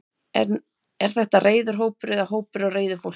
Er þetta reiður hópur eða hópur af reiðu fólki?